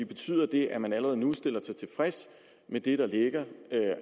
betyder det at man allerede nu stiller sig tilfreds med det der ligger